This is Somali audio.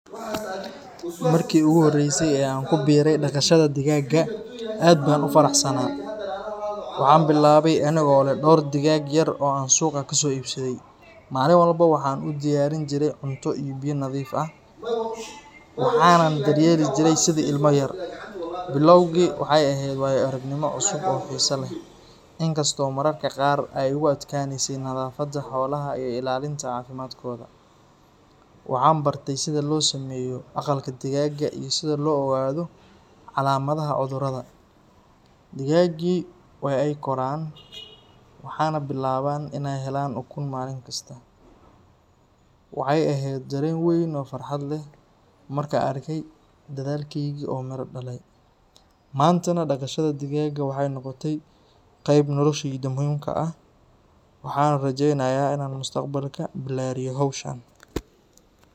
Markii ugu horreysay ee aan ku biiray dhaqashada digaagga, aad baan u faraxsanaa. Waxaan bilaabay anigoo leh dhowr digaag yar oo aan suuqa ka soo iibiyey. Maalin walba waxaan u diyaarin jiray cunto iyo biyo nadiif ah, waxaanan daryeeli jiray sidii ilmo yar. Bilowgii, waxay ahayd waayo-aragnimo cusub oo xiiso leh, inkastoo mararka qaar ay igu adkaanaysay nadaafadda xoolaha iyo ilaalinta caafimaadkooda. Waxaan bartay sida loo sameeyo aqalka digaagga iyo sida loo ogaado calaamadaha cudurrada. Digaaggii waa ay koraan, waxaana bilaabay inaan helo ukun maalin kasta. Waxay ahayd dareen weyn oo farxad leh markaan arkay dadaalkaygii oo miro dhalay. Maantana, dhaqashada digaagga waxay noqotay qayb nolosheyda muhiim ka ah, waxaanan rajeynayaa inaan mustaqbalka ballaariyo hawshan.